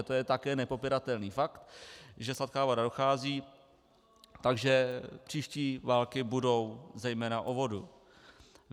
A to je také nepopiratelný fakt, že sladká voda dochází, takže příští války budou zejména o vodu.